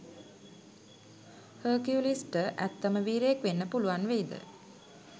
හර්කියුලිස්ට ඇත්තම වීරයෙක් වෙන්න පුළුවන් වෙයිද?